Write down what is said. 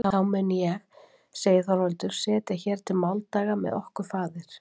Þá mun ég segir Þorvaldur, setja hér til máldaga með okkur, faðir!